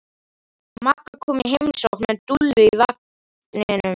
Magga kom í heimsókn með Dúllu í barnavagninum.